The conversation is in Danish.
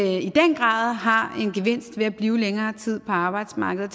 i den grad har en gevinst ved at blive længere tid på arbejdsmarkedet